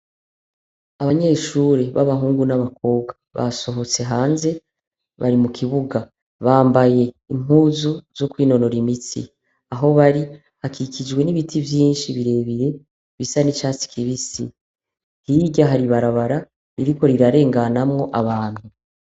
Abanyeshure b' abahungu n' abakobwa basohotse hanze bari mu kibuga bambaye impuzu zo kwinonora imitsi aho bari hakikijwe n' ibiti vyinshi bire bire bisa n' icatsi kibisi hirya hari ibarabara ririko rirarenganamwo abantu.